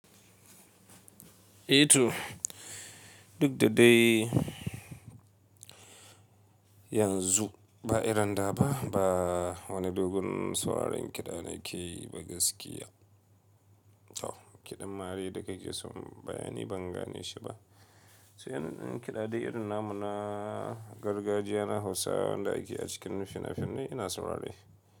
Eh to duk da dai yanzu ba Irin da ba wani dogon sauraron kiɗa ne ke yi ba gaskiya. Kiɗan mari da ka ke so bayani ban gane shi ba. So yanayin kiɗa dai irin namu na gargajiya na Hausa wanda ake a cikin fina-finai ina saurare.